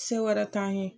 Se wɛrɛ t'an ye